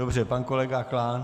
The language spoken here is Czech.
Dobře, pan kolega Klán.